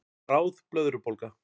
Bráð blöðrubólga